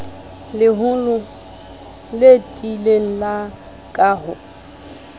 leholo le tiileng la kaho